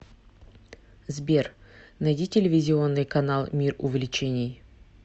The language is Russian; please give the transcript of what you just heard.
сбер найди телевизионный канал мир увлечений